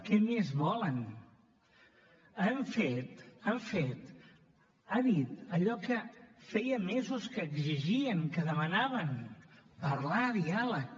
què més volen ha dit allò que feia mesos que exigien que demanaven parlar diàleg